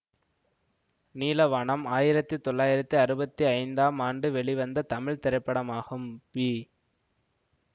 நீலவானம் ஆயிரத்தி தொளாயிரத்தி அறுபத்தி ஐந்தாம் ஆண்டு வெளிவந்த தமிழ் திரைப்படமாகும் பி